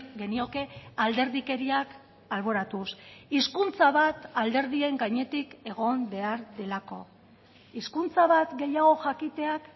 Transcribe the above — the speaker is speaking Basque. genioke alderdikeriak alboratuz hizkuntza bat alderdien gainetik egon behar delako hizkuntza bat gehiago jakiteak